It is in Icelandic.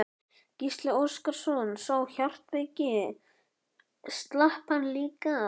Gísli Óskarsson: Sá hjartveiki, slapp hann líka?